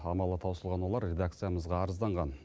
амалы таусылған олар редакциямызға арызданған